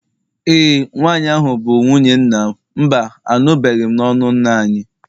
e, nwanyi ahu bu nwunye nnamMba, anụbeghị m n'ọnụ nna anyị